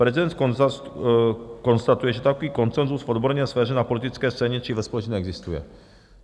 Prezident konstatuje, že takový konsenzus v odborné sféře na politické scéně či ve společnosti neexistuje.